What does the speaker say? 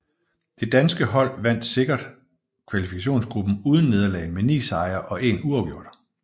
Det danske hold vandt sikkert kvalifikationsgruppen uden nederlag med ni sejre og én uafgjort